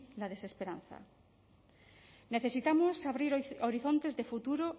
la desesperanza necesitamos abrir horizontes de futuro